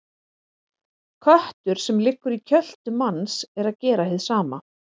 Köttur sem liggur í kjöltu manns er að gera hið sama.